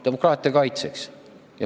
Demokraatia kaitseks.